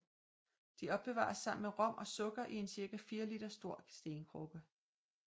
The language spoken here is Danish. De opbevares sammen med rom og sukker i en cirka 4 liter stor stenkrukke